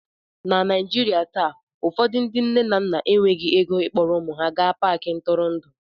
na Naijiria taa ụfọdụ ndị nne na nna enweghị ego ịkpọrọ ụmụ ha gaa Paakị ntụrụndụ